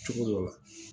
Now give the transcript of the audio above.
Cogo dɔ la